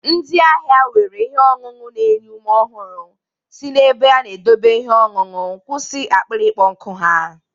Ndị ahịa were ihe ọṅụṅụ na-enye ume ọhụrụ si n'ebe a na-edọbe ihe ọṅụṅụ kwusi akpịrị ịkpọ nkụ ha.